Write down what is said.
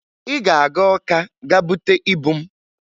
Ị ga-aga Ọka gaa bute ibu m!